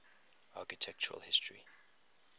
architectural history